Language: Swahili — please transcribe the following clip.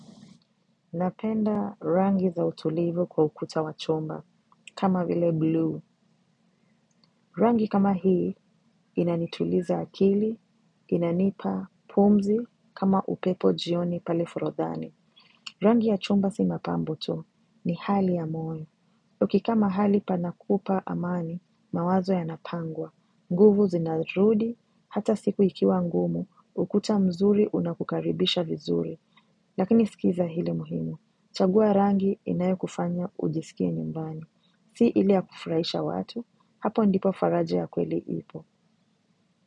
Napenda rangi za utulivu kwa ukuta wa chumba, kama vile buluu. Rangi kama hii, inanituliza akili, inanipa, pumzi, kama upepo jioni pale forodhani. Rangi ya chumba si mapambo tu, ni hali ya moyo. Ukikaa mahali panakupa amani, mawazo yanapangwa. Nguvu zinarudi, hata siku ikiwa ngumu, ukuta mzuri unakukaribisha vizuri, lakini sikiza ile muhimu. Chagua rangi inayokufanya ujisikie nyumbani. Si ile ya kufuraisha watu, hapo ndipo faraja ya kweli ipo.